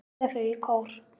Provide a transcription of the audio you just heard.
segja þau í kór.